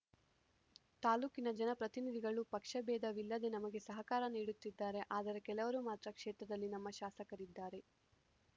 ತಾಲೂಕಿನ ಜನಪ್ರತಿನಿಧಿಗಳು ಪಕ್ಷಭೇದವಿಲ್ಲದೆ ನಮಗೆ ಸಹಕಾರ ನೀಡುತ್ತಿದ್ದಾರೆ ಆದರೆ ಕೆಲವರು ಮಾತ್ರ ಕ್ಷೇತ್ರದಲ್ಲಿ ನಮ್ಮ ಶಾಸಕರಿದ್ದಾರೆ